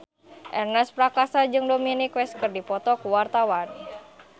Ernest Prakasa jeung Dominic West keur dipoto ku wartawan